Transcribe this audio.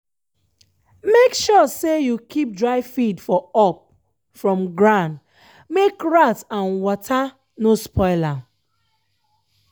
make sure say you keep dry feed for up from grand make rat and wata no spoil am.